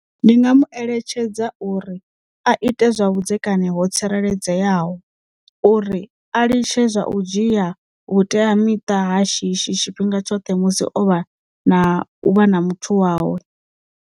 Ndi nga mu eletshedza uri a ite zwa vhudzekani ho tsireledzeaho uri a litshe zwa u dzhia vhuteamiṱa ha shishi tshifhinga tshoṱhe musi o vha na u vha na muthu wawe.